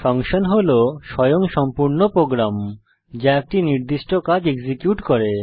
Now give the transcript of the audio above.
function হল স্বয়ংসম্পূর্ণ program যা একটি নির্দিষ্ট কাজ এক্সিকিউট করে